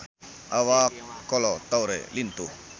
Awak Kolo Taure lintuh